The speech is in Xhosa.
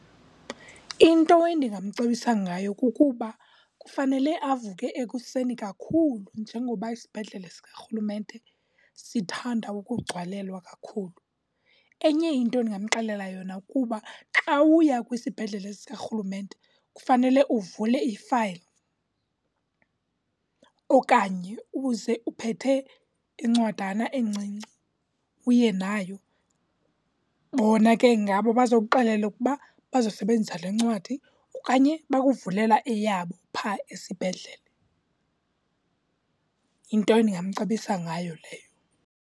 Into endingamcebisa ngayo kukuba kufanele avuke ekuseni kakhulu njengoba isibhedlele sikarhulumente sithanda ukugcwalelwa kakhulu. Enye into endingamxelela yona kuba xa uya kwisibhedlele sikarhulumente kufanele uvule ifayile, okanye uze uphethe incwadana encinci uye nayo. Bona ke ngabo abazokuxelela ukuba bazosebenzisa le ncwadi okanye bakuvulela eyabo phaa esibhedlele. Yinto endingamcebisa ngayo leyo.